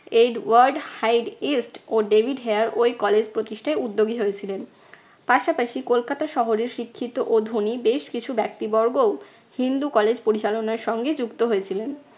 Edward Hyde East ও David Hare ঐ college প্রতিষ্ঠায় উদ্যোগী হয়েছিলেন। পাশাপাশি কলকাতা শহরের শিক্ষিত ও ধনী বেশ কিছু ব্যক্তিবর্গও হিন্দু college পরিচালনার সঙ্গে যুক্ত হয়েছিলেন।